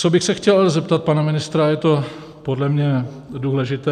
Co bych se chtěl zeptat pana ministra, je to podle mě důležité.